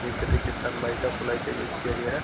नीचे देखिये सब नायका प्लाई का यूज़ किया गया है |